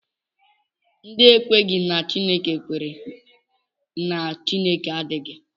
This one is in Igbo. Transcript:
Ndị na-ekweghị na Chineke kwere na Chineke adịghị